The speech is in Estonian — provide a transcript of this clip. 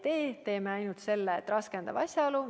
Me teeksime ainult selle, et see oleks raskendav asjaolu.